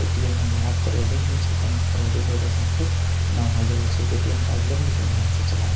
ए.टी.एम. में बड़ा फ़्रौडिंग होय छै कही फ़्रौडिंग रउरा साथे ना हो जाये ए.टी.एम. कार्ड लेम लेकिन ध्यान से चलाएब।